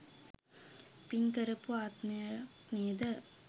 පින් කරපු ආත්මයක් නේද?